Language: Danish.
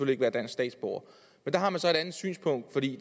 ikke være dansk statsborger men der har man så et andet synspunkt fordi